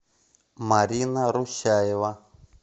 марина русяева